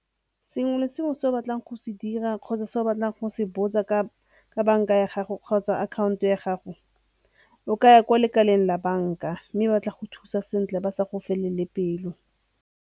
Sengwe le sengwe se o batlang go se dira kgotsa se o batlang go se botsa ka banka ya gago kgotsa akhanto ya gago o ka ya ko lekaleng la banka mme ba tla go thusa sentle ba sa go felele pelo.